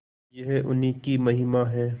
यह उन्हीं की महिमा है